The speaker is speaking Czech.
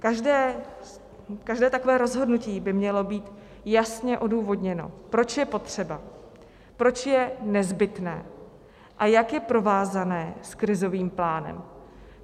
Každé takové rozhodnutí by mělo být jasně odůvodněno, proč je potřeba, proč je nezbytné a jak je provázáno s krizovým plánem.